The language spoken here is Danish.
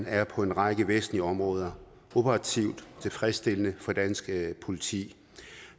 er på en række væsentlige områder operativt tilfredsstillende for det danske politi